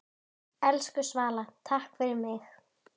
Elsku Svala, takk fyrir mig.